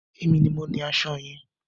Èmi ni mo ní aṣọ yẹn.